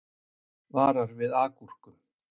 Varar við agúrkum